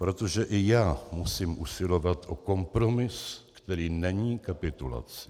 Protože i já musím usilovat o kompromis, který není kapitulací.